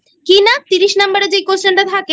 কিনা তিরিশ Number এর যে Question টা থাকে